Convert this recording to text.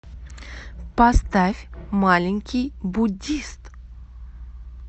поставь маленький буддист